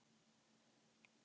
Fann fyrir brjóstum hennar.